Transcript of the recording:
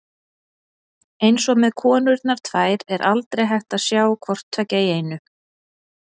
Eins og með konurnar tvær er aldrei hægt að sjá hvort tveggja í einu.